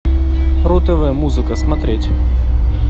ру тв музыка смотреть